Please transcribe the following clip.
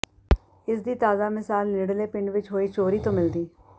ਜਿਸ ਦੀ ਤਾਜ਼ਾ ਮਿਸਾਲ ਨੇੜਲੇ ਪਿੰਡ ਵਿਚ ਹੋਈ ਚੋਰੀ ਤੋਂ ਮਿਲਦੀ